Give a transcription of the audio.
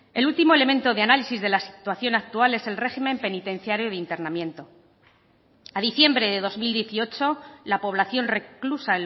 el último elemento de análisis de la situación actual es el régimen penitenciario de internamiento a diciembre de dos mil dieciocho la población reclusa